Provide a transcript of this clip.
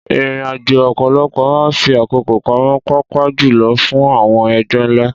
Ìrìnàjò ọ̀pọ̀lọpọ̀ máa ń fi àkókò pamọ́, pàápàá jùlọ fún àwọn ẹgbẹ́ ńlá.